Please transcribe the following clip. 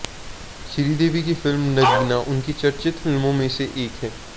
श्रीदेवी की फिल्म नगीना उनकी चर्चित फिल्मों मे से एक है